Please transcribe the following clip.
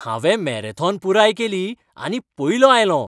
हांवें मॅरेथॉन पुराय केली आनी पयलों आयलों.